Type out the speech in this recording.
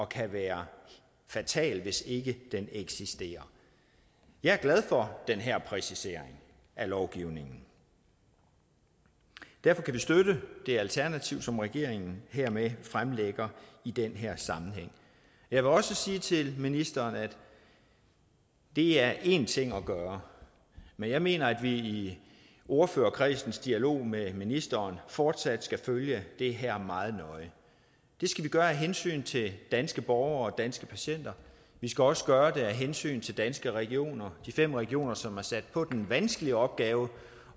kan være fatal hvis ikke den eksisterer jeg er glad for den her præcisering af lovgivningen derfor kan vi støtte det alternativ som regeringen hermed fremlægger i den her sammenhæng jeg vil også sige til ministeren at det er én ting at gøre men jeg mener at vi i ordførerkredsens dialog med ministeren fortsat skal følge det her meget nøje det skal vi gøre af hensyn til danske borgere og danske patienter og vi skal også gøre det af hensyn til danske regioner de fem regioner som er sat på den vanskelige opgave